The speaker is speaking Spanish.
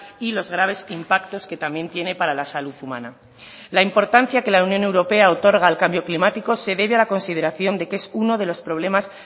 y los graves impactos que también tiene para la salud humana la importancia que la unión europea otorga al cambio climático se debe a la consideración de que es uno de los problemas